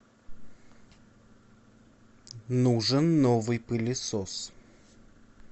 нужен новый пылесос